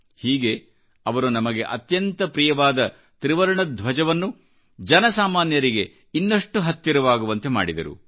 ಹೀಗೆ ಅವರು ನಮಗೆಅತ್ಯಂತ ಪ್ರಿಯವಾದ ತ್ರಿವರ್ಣ ಧ್ವಜವನ್ನು ಜನಸಾಮಾನ್ಯರಿಗೆ ಇನ್ನಷ್ಟು ಹತ್ತಿರವಾಗುವಂತೆ ಮಾಡಿದರು